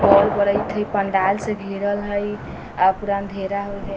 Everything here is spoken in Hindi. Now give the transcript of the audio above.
बोल बरेएत हेय पंडाल से घेरल हेय आ पूरा अँधेरा होईल हेय।